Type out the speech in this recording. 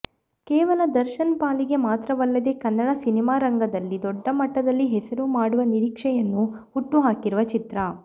ಕೇವಲ ದರ್ಶನ್ ಪಾಲಿಗೆ ಮಾತ್ರವಲ್ಲದೆ ಕನ್ನಡ ಸಿನಿಮಾರಂಗದಲ್ಲಿ ದೊಡ್ಡ ಮಟ್ಟದಲ್ಲಿ ಹೆಸರು ಮಾಡುವ ನಿರೀಕ್ಷೆಯನ್ನು ಹುಟ್ಟು ಹಾಕಿರುವ ಚಿತ್ರ